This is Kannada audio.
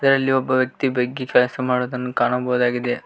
ಇದರಲ್ಲಿ ಒಬ್ಬ ವ್ಯಕ್ತಿ ಬಗ್ಗೆ ಕೆಲಸ ಮಾಡುವುದನ್ನು ಕಾಣಬಹುದಾಗಿದೆ.